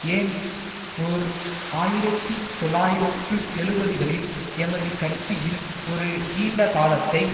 Ernst ஓர் ஆயிரத்தி தொள்ளாயிரத்து எழுபதுகளில் எமது கட்சியில் ஒரு நீண்ட காலத்தை